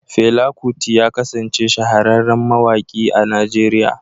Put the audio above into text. Fela Kuti ya kasance shahararren mawaƙi a Nigeriya.